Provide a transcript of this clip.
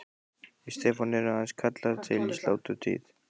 Við Stefán erum aðeins kallaðir til í sláturtíð.